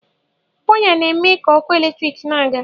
Waya na eme ga ọkụ eletrik na aga.